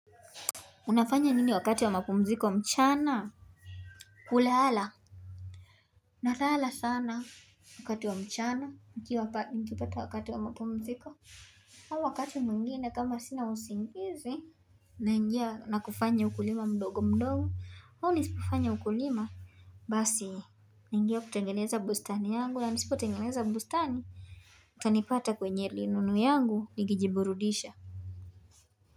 Unafanya nini wakati wa mapumziko mchana kulala nalala sana wakati wa mchana nikipata wakati wa mapumziko au wakati mwingine kama sina usingizi naingia na kufanya ukulima mdogo mdogo au nisipofanya ukulima Basi naingia kutengeneza bustani yangu na nisipotengeneza bustani utanipata kwenye linunu yangu nikijiburudisha.